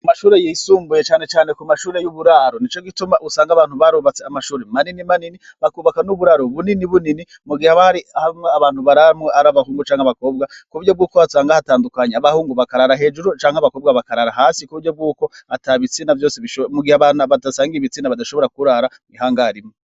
Kumashure yisumbuye cane cane kumashure yuburaro nicogituma usanga abantu barubatse amashure manini manini bakubaka nuburaro bunini bunini mugihe abari ababantu bararamwo abahungu canke abakobwa kuburyo yukusanga hatandukanye abahungu bakarara hejuru canke abakobwa bakarara hasi kuburyo yuko mugihe abantu badasangiye atabitsina badashobora kurara ihangare imwe